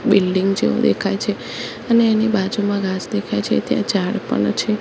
Building જેવું દેખાય છે અને એની બાજુમાં ઘાસ દેખાય છે ત્યાં ઝાડ પણ છે.